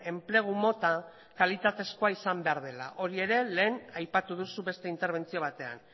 enplegu mota kalitatezkoa izan behar dela hori ere lehen aipatu duzu beste interbentzio batean